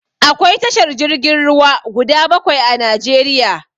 Akwai tashar jirgin ruwa guda bakwai a Najeriya.